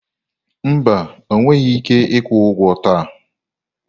Mba, ọ nweghị ike ịkwụ ụgwọ taa.